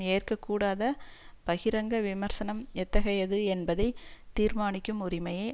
ஏற்க கூடாத பகிரங்க விமர்சனம் எத்தகையது என்பதை தீர்மானிக்கும் உரிமையை